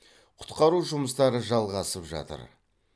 құтқару жұмыстары жалғасып жатыр